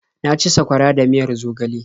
Na ci sakwara da miyar zogale.